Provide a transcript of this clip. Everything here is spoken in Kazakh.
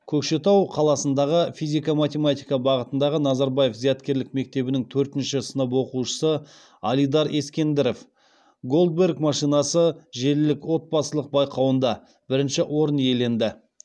көкшетау қаласындағы физико математика бағытындағы назарбаев зияткерлік мектебінің төртінші сынып оқушысы алидар ескендіров голдберг машинасы желілік отбасылық байқауында бірінші орын иеленді